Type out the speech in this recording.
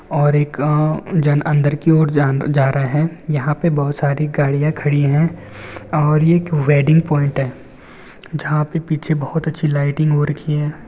और एक आ जन अंदर की ओर जन जा रहे है। यहाँ पर बहुत सारी गाड़िया खड़ी है और ये एक वेड़िंग पॉइन्ट है। जहा पर पीछे बहुत अच्छी लाइटिंग हो रखी है।